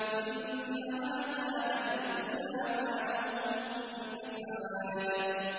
إِنَّ هَٰذَا لَرِزْقُنَا مَا لَهُ مِن نَّفَادٍ